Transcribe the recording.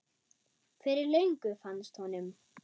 Fyrir löngu fannst honum.